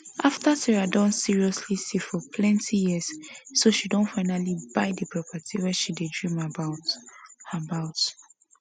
after sarah don seriously save for plenti years so she don finally buy the property wey she dream about about